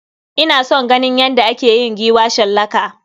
Ina son ganin yadda ake yin giwa shallaka.